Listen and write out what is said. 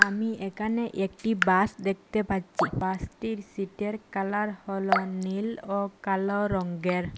আমি একানে একটি বাস দেখতে পাচ্ছি বাসটির সিটের কালার হল নীল ও কালো রঙের।